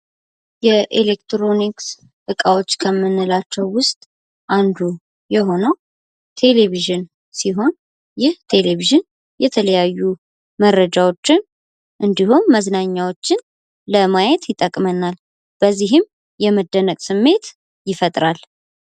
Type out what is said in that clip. የኤሌክትሮኒክስ እቃቸው ከምንላቸው ውስጥ አንዱ የሆነው ቴሌቪዥን ሲሆን ይህ ቴሌቪዥን የተለያዩ መረጃዎችን እንዲሁም መዝናኛዎችን ለማየት ይጠቅመናል በዚህም የመደነቅ ስሜት ይፈጥራል።